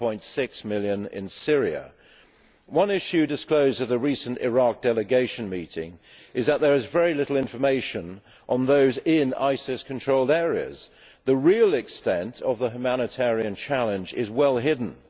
7.6 million in Syria. One issue disclosed at a recent Iraq delegation meeting is that there is very little information on those in ISIS controlled areas. The real extent of the humanitarian challenge is well hidden.